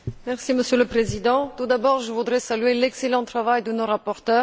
Monsieur le Président, tout d'abord je voudrais saluer l'excellent travail de nos rapporteurs.